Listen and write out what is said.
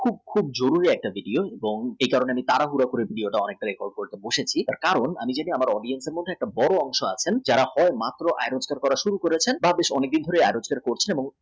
খুব খুব জরুরী একটা video এ কারণে তাড়াহুড়ো দিয়ে দাওয়ার জন্য বসেছি আমি আমার audience একটা বড় অংশ আছে যারা এই মাত্র করা শুরু করেছে।